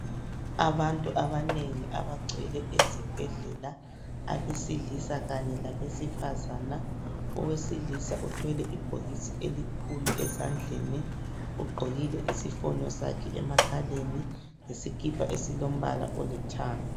Abantu abanengi abagcwele ezibhedlela. Abesilisa kanye labesifazana ,owesilisa uthwele ibhokisi elikhulu ezandleni. Ugqokile isifonyo sakhe emakhaleni, lesikhipha esilombala esilithanga.